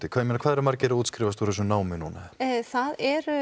ég meina hvað eru margir að útskrifast úr þessu námi núna það eru